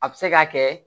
A bɛ se k'a kɛ